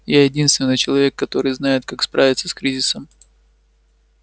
я единственный человек который знает как справиться с кризисом